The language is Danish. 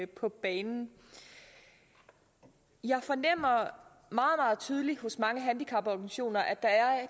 på banen jeg fornemmer meget meget tydeligt hos mange handicaporganisationer at der er